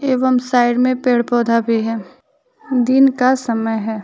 एवं साइड में पेड़ पौधा भी है दिन का समय है।